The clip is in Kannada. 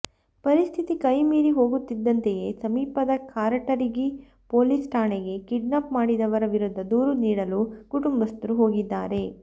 ಪರಿಸ್ಥಿತಿ ಕೈ ಮೀರಿ ಹೋಗುತ್ತಿದ್ದಂತೆಯೇ ಸಮೀಪದ ಕಾರಟಗಿ ಪೊಲೀಸ್ ಠಾಣೆಗೆ ಕಿಡ್ನಾಪ್ ಮಾಡಿದವರ ವಿರುದ್ಧ ದೂರು ನೀಡಲು ಕುಟುಂಬಸ್ಥರು ಹೋಗಿದ್ದಾರೆ